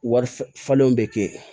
Wari falenw be kɛ yen